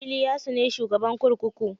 Iliyasu ne shugaban kurkuku.